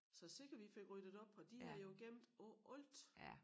Så sikke vi fik ryddet op og de havde jo gemt på alt